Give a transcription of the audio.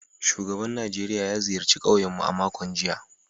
Shugaban Najeriya ya ziyarci kauyen mu a makon jiya